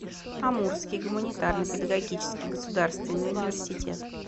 амурский гуманитарно педагогический государственный университет